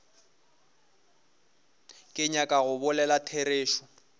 ke nyaka go bolela therešo